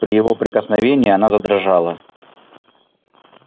при его прикосновении она задрожала